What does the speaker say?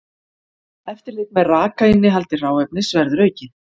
Eftirlit með rakainnihaldi hráefnis verður aukið